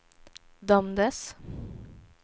dömdes